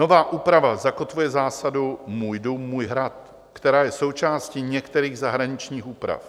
Nová úprava zakotvuje zásadu "můj dům, můj hrad," která je součástí některých zahraničních úprav.